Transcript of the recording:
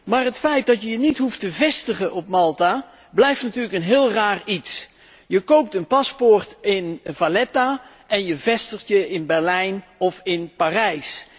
Maar het feit dat je je niet hoeft te vestigen op Malta blijft natuurlijk een heel raar iets. Je koopt een paspoort in Valletta en je vestigt je in Berlijn of in Parijs.